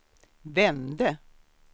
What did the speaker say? vände